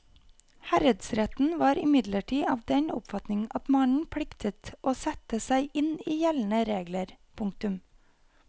Herredsretten var imidlertid av den oppfatning at mannen pliktet å sette seg inn i gjeldende regler. punktum